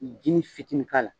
Jinin fitinin k'a la